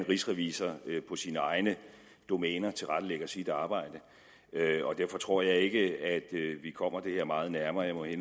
rigsrevisor på sine egne domæner tilrettelægger sit arbejde derfor tror jeg ikke at vi kommer det her meget nærmere jeg må i